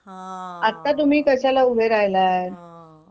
हा आता तुम्ही कशाला उभे राहिलेल्यात